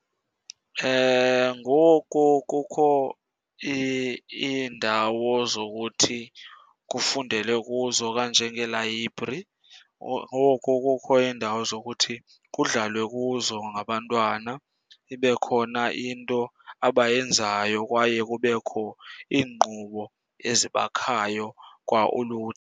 Ngoku kukho iindawo zokuthi kufundelwe kuzo kanjengeelayibhri. Ngoku kukho iindawo zokuthi kudlalwe kuzo ngabantwana, ibe khona into abayenzayo kwaye kubekho iinkqubo ezibakhayo kwa .